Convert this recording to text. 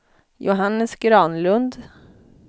Johannes Granlund